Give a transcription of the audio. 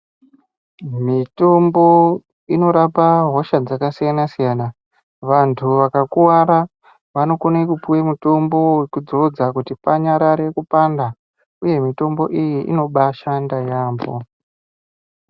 Mitombo inorapa hosha dzakasiyanasiyana vantu vakakuwara vanokone kupuwa mutombo wekudzodza kuti panyarare kupanda uye mitombo iyi inobaashande yamho.